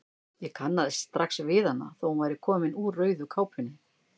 Ég kannaðist strax við hana þó að hún væri komin úr rauðu kápunni.